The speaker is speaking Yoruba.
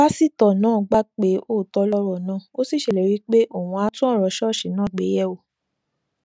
pásítò náà gbà pé òótó lòrò náà ó sì ṣèlérí pé òun á tún òrò ṣóòṣì náà gbéyèwò